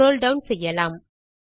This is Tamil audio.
ஸ்க்ரோல் டவுன் செய்யலாம்